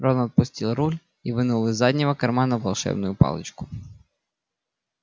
рон отпустил руль и вынул из заднего кармана волшебную палочку